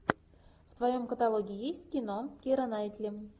в твоем каталоге есть кино кира найтли